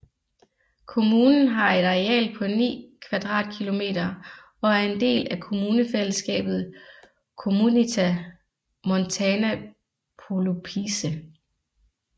Kommunen har et areal på 9 km² og er en del af kommunefællesskabet Comunità Montana Pollupice